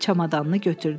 Çamadanını götürdü.